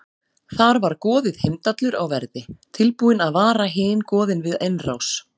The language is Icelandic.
Þar var goðið Heimdallur á verði, tilbúinn að vara hin goðin við innrás.